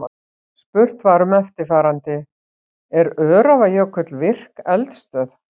Spurt var um eftirfarandi: Er Öræfajökull virk eldstöð?